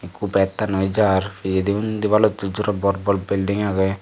ekku battannoi jar pijendi undi baluddur jora bor bor bilding age.